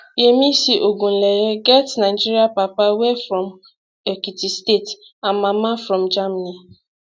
yemisi ogunleye get nigerian papa wey from ekiti state and mama from germany